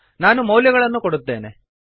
ನಾನು ಮೌಲ್ಯಗಳನ್ನು ಕೊಡುತ್ತೇನೆ